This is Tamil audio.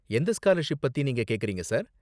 எந்த ஸ்காலர்ஷிப் பத்தி நீங்க கேக்கறீங்க, சார்?